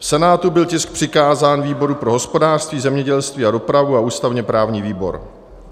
V Senátu byl tisk přikázán výboru pro hospodářství, zemědělství a dopravu a ústavně-právnímu výboru.